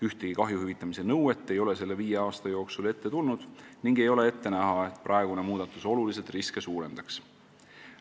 Ühtegi kahju hüvitamise nõuet ei ole selle viie aasta jooksul ette tulnud ning ei ole ette näha, et praegune muudatus oluliselt riske suurendaks.